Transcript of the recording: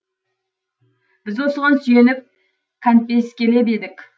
біз осыған сүйеніп кәнпескелеп едік